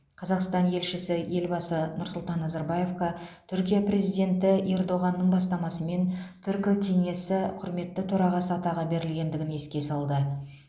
қазақстан елшісі елбасы нұрсұлтан назарбаевқа түркия президенті ердоғанның бастамасымен түркі кеңесі құрметті төрағасы атағы берілгендігін еске салды